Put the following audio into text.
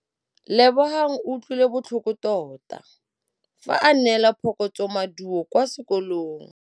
Lebogang o utlwile botlhoko tota fa a neelwa phokotsômaduô kwa sekolong.